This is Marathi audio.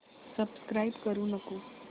सबस्क्राईब करू नको